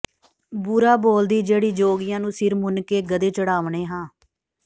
ਬੁਰਾ ਬੋਲਦੀ ਜਿਹੜੀ ਜੋਗੀਆਂ ਨੂੰ ਸਿਰ ਮੁੰਨ ਕੇ ਗਧੇ ਚੜ੍ਹਾਵਨੇ ਹਾਂ